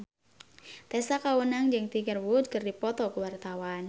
Tessa Kaunang jeung Tiger Wood keur dipoto ku wartawan